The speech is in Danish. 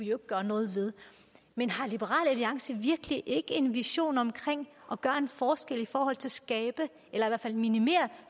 gøre noget ved det men har liberal alliance virkelig ikke en vision om at gøre en forskel i forhold til at skabe eller i hvert fald minimere